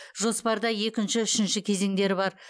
жоспарда екінші үшінші кезеңдері бар